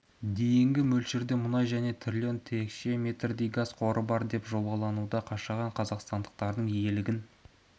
дейінгі мөлшерде мұнай және трлн текше метрдей газ қоры бар деп жобалануда қашаған қазақстандықтардың игілігін